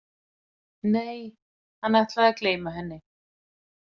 Nei, hann ætlaði að gleyma henni.